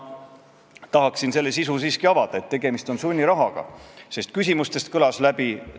2014. aastal kontrollis Keeleinspektsioon arste, õdesid ja hooldustöötajaid, neid oli 725. Mis te arvate, kui paljud neist eesti keelt ei osanud?